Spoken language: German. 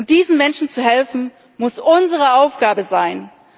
Und diesen Menschen zu helfen, muss unsere Aufgabe